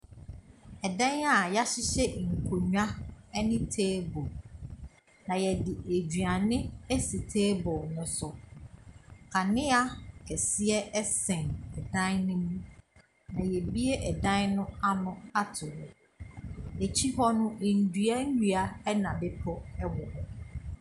Ɛdan a wɔahyehyɛ nkonnwa ne table. Na wɔde aduane asi table no so. Kanea kɛseɛ sɛn dan no mu. Na wɔabue ɛdan no ano ato hɔ. N'kyi hɔ no, nnua nnua, ɛna bepɔ wɔ hɔ.